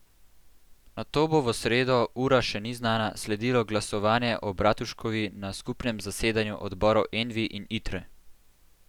Nato bo v sredo, ura še ni znana, sledilo glasovanje o Bratuškovi na skupnem zasedanju odborov Envi in Itre.